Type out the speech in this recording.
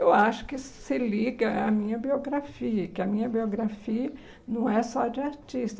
Eu acho que se liga à minha biografia, que a minha biografia não é só de artista.